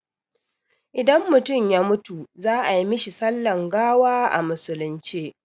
Idan mutum ya mutu za ai mishi sallan gawa a musulunce